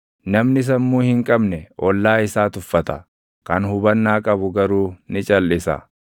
Namni sammuu hin qabne ollaa isaa tuffata; kan hubannaa qabu garuu ni calʼisa.